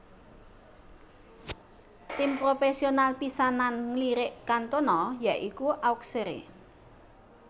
Tim propesional pisanan nglirik Cantona ya iku Auxerre